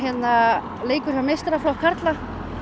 heimaleikur hjá meistaraflokki karla